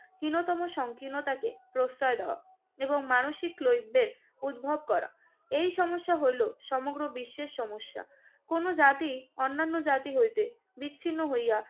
হীনতম সংকীর্ণতাকে প্রশ্রয় দেওয়া এবং মানসিক লভ্যের উদ্ভব করা। এই সমস্যা হইল সমগ্র বিশ্বের সমস্যা। কোন জাতি অন্যান্য জাতি হইতে বিচ্ছিন্ন হইয়া